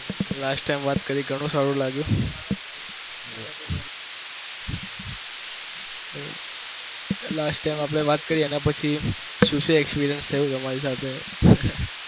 last time વાત કરી ઘણું સારું લાગ્યું last time આપડે વાત કરી એના પછી શું શું experience થયું તમારી સાથે?